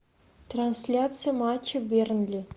трансляция матча бернли